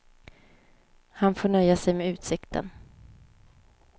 Han får nöja sig med utsikten.